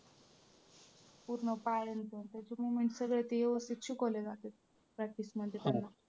पूर्ण पाय आणि moment सगळं ते व्यवस्थित शिकवलेलं असतं practice मध्ये त्यांना.